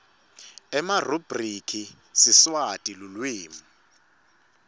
emarubhriki siswati lulwimi